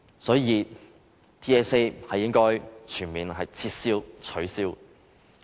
所以 ，TSA 是應該全面取消的。